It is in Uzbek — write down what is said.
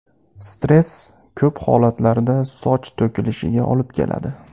Stress ko‘p holatlarda soch to‘kilishiga olib keladi.